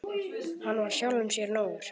Hann var sjálfum sér nógur.